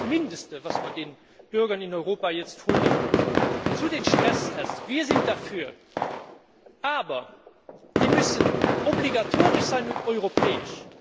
Das ist doch das Mindeste, was man den Bürgern in Europa jetzt vorlegen muss. Zu den Stresstests Wir sind dafür, aber sie müssen obligatorisch sein und europäisch.